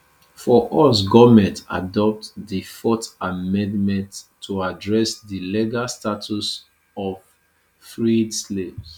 for us goment adopt di fourth amendment to address di legal status of freed slaves